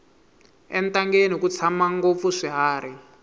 entangeni ku tshama ngopfu swiharhi